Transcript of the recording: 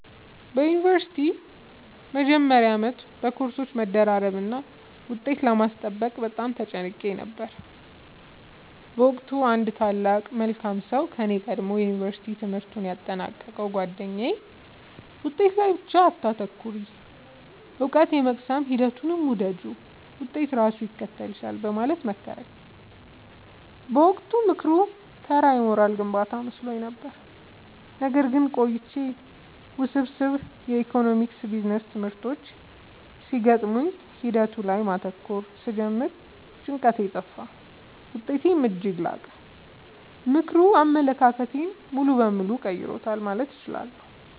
በዩኒቨርሲቲ መጀመሪያ ዓመት በኮርሶች መደራረብና ውጤት ለማስጠበቅ በጣም ተጨንቄ ነበር። በወቅቱ አንድ ታላቅ መልካም ሰው ከኔ ቀድሞ የዩንቨርስቲ ትምህርቱን ያጠናቀቀው ጉአደኛዬ «ውጤት ላይ ብቻ አታተኩሪ: እውቀትን የመቅሰም ሂደቱን ውደጂው፣ ውጤት ራሱ ይከተልሻል» በማለት መከረኝ። በወቅቱ ምክሩ ተራ የሞራል ግንባታ መስሎኝ ነበር። ነገር ግን ቆይቼ ውስብስብ የኢኮኖሚክስና ቢዝነስ ትምህርቶች ሲገጥሙኝ ሂደቱ ላይ ማተኮር ስጀምር ጭንቀቴ ጠፋ: ውጤቴም እጅግ ላቀ። ምክሩ አመለካከቴን ሙሉ በሙሉ ቀይሮታል ማለት እችላለሁ።